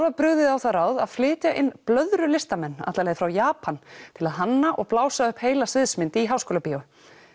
var brugðið á það ráð að flytja inn blöðrulistamenn alla leið frá Japan til að hanna og blása upp heila sviðsmynd í Háskólabíó